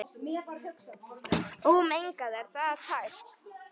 Ómengað er það tært.